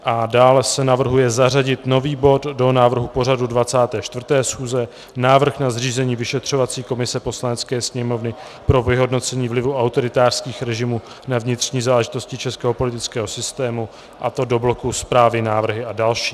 A dále se navrhuje zařadit nový bod do návrhu pořadu 24. schůze - Návrh na zřízení vyšetřovací komise Poslanecké sněmovny pro vyhodnocení vlivu autoritářských režimů na vnitřní záležitosti českého politického systému, a to do bloku Zprávy, návrhy a další.